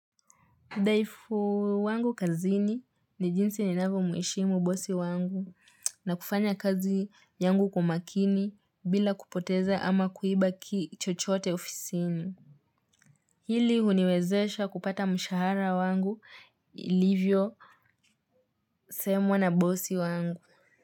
Udhaifu wangu kazini ni jinsi ninavyo mheshimu bosi wangu na kufanya kazi yangu kwa makini bila kupoteza ama kuiba kitu chochote ofisini. Ili uniwezesha kupata mshahara wangu ilivyo semwa na bosi wangu.